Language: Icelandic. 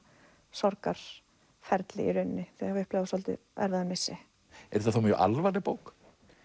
sorgarferli þú hafa upplifað svolítið erfiðan missi er þetta þá mjög alvarleg bók